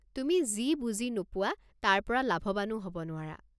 তুমি যি বুজি নোপোৱা তাৰ পৰা লাভৱানো হ'ব নোৱাৰা।